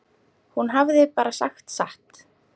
Hún hafði bara sagt satt.